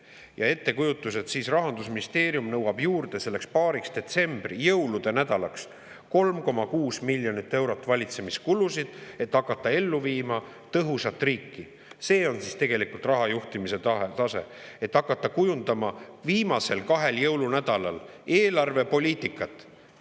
Ja ettekujutus, et Rahandusministeerium nõuab juurde selleks paariks detsembri jõulunädalaks 3,6 miljonit eurot valitsemiskulusid, et hakata ellu viima tõhusat riiki – see on siis tegelikult raha juhtimise tase: hakata kujundama viimasel kahel jõulunädalal eelarvepoliitikat.